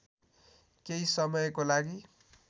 केही समयको लागि